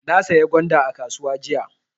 Na saya gwanda a kasuwa jiya.